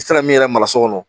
I tɛ se ka min yɛrɛ mara so kɔnɔ